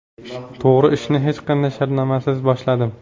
To‘g‘ri, ishni hech qanday shartnomasiz boshladim.